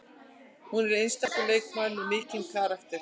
Hún er einstakur leikmaður með mikinn karakter